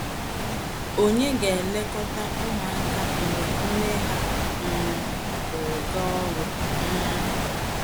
Ònye ga - elekọta ụmụaka mgbe nne ha um pụrụ gaa ọrụ? um